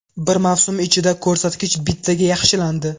Bir mavsum ichida ko‘rsatkich bittaga yaxshilandi.